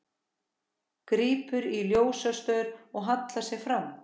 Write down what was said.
Grípur í ljósastaur og hallar sér fram.